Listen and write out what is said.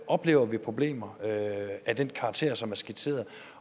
oplever vi problemer af den karakter som er skitseret